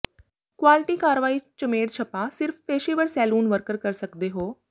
quality ਕਾਰਵਾਈ ਚਮੇੜ ਝਪਾ ਸਿਰਫ ਪੇਸ਼ੇਵਰ ਸੈਲੂਨ ਵਰਕਰ ਕਰ ਸਕਦੇ ਹੋ